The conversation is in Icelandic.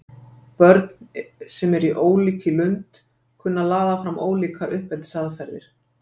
börn sem eru ólík í lund kunna að laða fram ólíkar uppeldisaðferðir